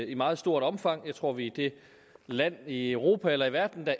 i meget stort omfang jeg tror vi er det land i europa eller i verden der